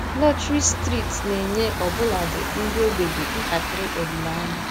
Lọtrị steeti na-enye ọbụladị ndị ogbenye ntakịrị olileanya.